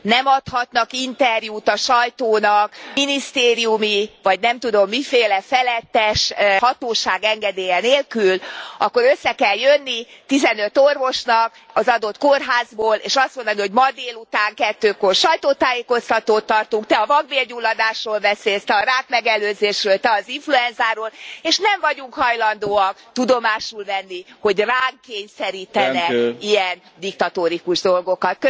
nem adhatnak interjút a sajtónak minisztériumi, vagy nem tudom, miféle felettes hatóság engedélye nélkül, akkor össze kell jönni tizenöt orvosnak az adott kórházból, és azt mondani, hogy ma délután kettőkor sajtótájékoztatót tartunk, te a vakbélgyulladásról beszélsz, te a rákmegelőzésről, te az influenzáról, és nem vagyunk hajlandóak tudomásul venni, hogy ránk kényszerítenek ilyen diktatórikus dolgokat.